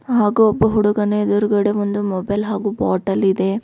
ಹಾಗು ಒಬ್ಬ ಹುಡುಗನ ಎದ್ರುಗಡೆ ಒಂದು ಮೊಬೈಲ್ ಹಾಗು ಬಾಟಲ್ ಇದೆ.